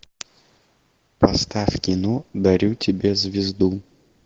поставь кино дарю тебе звезду